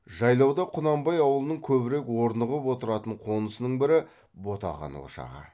жайлауда құнанбай аулының көбірек орнығып отыратын қонысының бірі ботақан ошағы